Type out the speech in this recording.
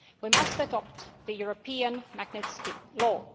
We must adopt the European Magnitsky law.